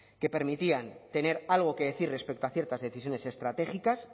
que permitían tener algo que decir respecto a ciertas decisiones estratégicas